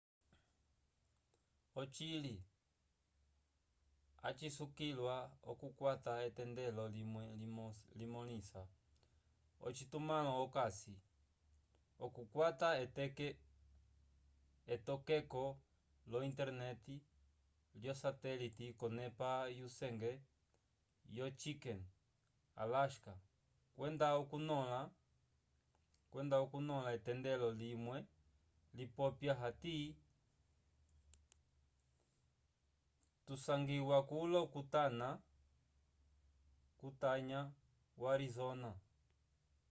ocili acisukiliwa okukwata etendelo limwe limõlisa ocitumãlo okasi okukwata etokeko lo internet lyosatelite k'onepa yusenge yo chicken alasca kwenda okunõla etendelo limwe lipopya hati tusangiwa kulo kutanya wo arizona